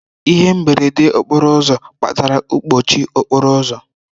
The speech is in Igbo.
Ihe mberede okporo ụzọ kpatara mkpọchi okporo ụzọ.